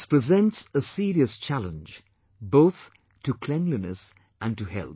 This presents a serious challenge both to cleanliness and to health